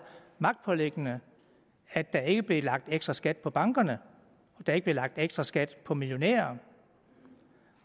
magtpåliggende at der ikke blev lagt ekstra skat på bankerne at der ikke blev lagt ekstra skat på millionærer